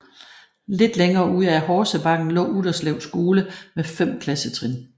Lidt længere ude ad Horsebakken lå Utterslev Skole med 5 klassetrin